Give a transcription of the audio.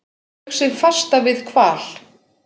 Saug sig fasta við hval